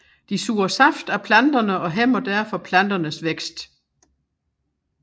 De suger saft af planterne og hæmmer derfor planternes vækst